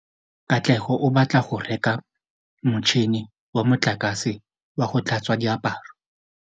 Katlego o batla go reka motšhine wa motlakase wa go tlhatswa diaparo.